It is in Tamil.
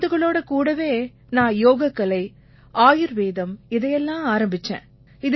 மருந்துகளோட கூடவே நான் யோகக்கலை ஆயுர்வேதம் இதையெல்லாம் ஆரம்பிச்சேன்